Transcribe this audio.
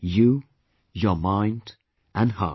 You, your mind and heart